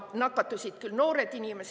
Nakatusid küll noored inimesed.